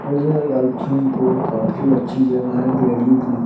मुझे I think वो काफी अच्छी जगह है देहली की --